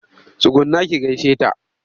Tsugunna ki gaishe ta!